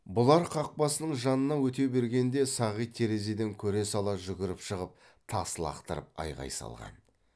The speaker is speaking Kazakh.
бұлар қақпасының жанынан өте бергенде сағит терезеден көре сала жүгіріп шығып тас лақтырып айғай салған